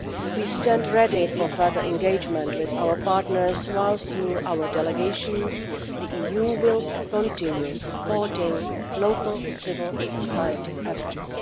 We stand ready for further engagement with our partners, and, through our delegations, the EU will continue supporting local civil society efforts.